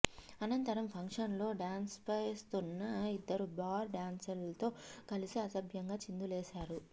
అనంతరం ఫంక్షన్లో డ్యాన్స్లేస్తున్న ఇద్దరు బార్ డ్యాన్స్ర్లతో కలిసి అసభ్యంగా చిందులేశారు